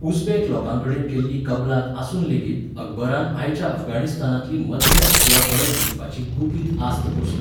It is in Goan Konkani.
उझबेक लोकांकडेन केल्ली कबलात आसून लेगीत अकबरान आयच्या अफगाणिस्तानांतली मध्य आशिया परत जिखपाची गुपीत आस्त पोसली.